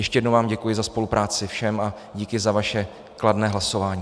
Ještě jednou vám děkuji za spolupráci, všem, a díky za vaše kladné hlasování.